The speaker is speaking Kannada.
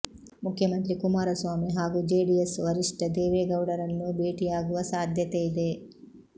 ಮುಖ್ಯಮಂತ್ರಿ ಕುಮಾರಸ್ವಾಮಿ ಹಾಗೂ ಜೆಡಿಎಸ್ ವರಿಷ್ಠ ದೇವೇಗೌಡರನ್ನೂ ಭೇಟಿ ಆಗುವ ಸಾಧ್ಯತೆ ಇದೆ